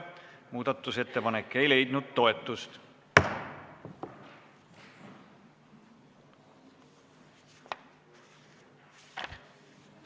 Muudatusettepanek ei leidnud toetust.